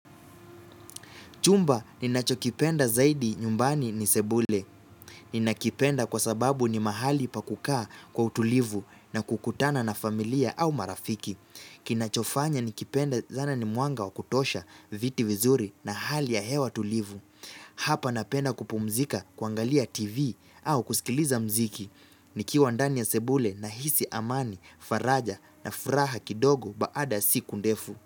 Chumba ninacho kipenda zaidi nyumbani ni sebule. Ni nakipenda kwa sababu ni mahali pa kukaa kwa utulivu na kukutana na familia au marafiki. Kinachofanya nikipende sana ni mwanga wa kutosha viti vizuri na hali ya hewa tulivu. Hapa napenda kupumzika, kuangalia TV au kusikiliza mziki nikiwa ndani ya sebule nahisi amani, faraja na furaha kidogo baada ya siku ndefu.